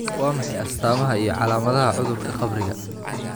Waa maxay astamaha iyo calaamadaha cudurka qabriga?